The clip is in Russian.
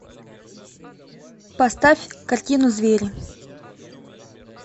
поставь картину звери